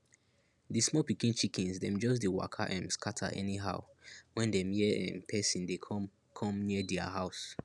di small pikin chickens dem just dey waka um scatter anyhow when dem hear um person dey come come near dia house